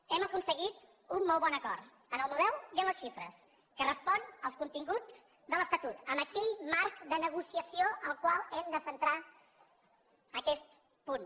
hem aconseguit un molt bon acord en el model i en les xifres que respon als continguts de l’estatut en aquell marc de negociació al qual hem de centrar aquest punt